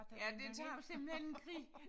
Ja det tager jo simpelthen en krig